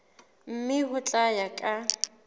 mme ho tla ya ka